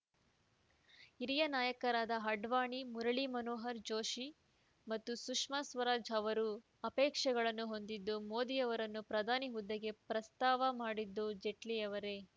ಹಿರಿಯ ನಾಯಕರಾದ ಅಡ್ವಾಣಿ ಮುರಳಿ ಮನೋಹರ ಜೋಶಿ ಮತ್ತು ಸುಷ್ಮಾ ಸ್ವರಾಜ್‌ ಅವರು ಆಪೆಕ್ಷೇಗಳನ್ನು ಹೊಂದಿದ್ದರೂ ಮೋದಿಯವರನ್ನು ಪ್ರಧಾನಿ ಹುದ್ದೆಗೆ ಪ್ರಸ್ತಾವ ಮಾಡಿದ್ದು ಜೈಟ್ಲಿಯವರೇ